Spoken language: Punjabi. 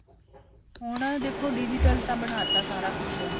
ਹੁਣ ਦੇਖੋ digital ਤਾਂ ਬਨਾਤਾ ਸਾਰਾ ਕੁੱਛ